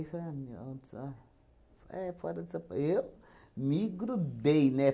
É, fora de São P. Eu me grudei, né?